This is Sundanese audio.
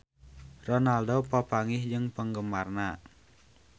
Ronaldo papanggih jeung penggemarna